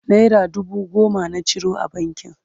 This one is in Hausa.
naira dubu goma na ciro a bankin